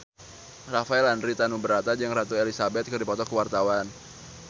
Rafael Landry Tanubrata jeung Ratu Elizabeth keur dipoto ku wartawan